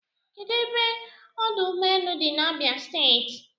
Kedụ ebe ọdụ ụgbọelu dị n'Abia steeti?